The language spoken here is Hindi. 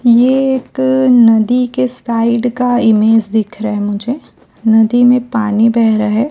एक नदी के साइड का इमेज दिख रहा है मुझे नदी में पानी बेह रहा है।